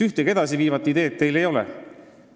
Ühtegi edasiviivat ideed teil ei ole.